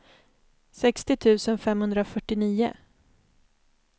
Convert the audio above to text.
sextio tusen femhundrafyrtionio